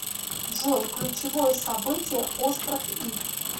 джой ключевое событие остров иф